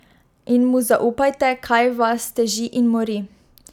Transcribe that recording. In mu zaupajte, kaj vas teži in mori.